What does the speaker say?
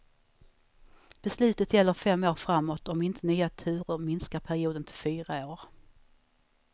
Beslutet gäller fem år framåt, om inte nya turer minskar perioden till fyra år.